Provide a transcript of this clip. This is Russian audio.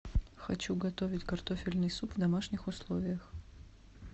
хочу готовить картофельный суп в домашних условиях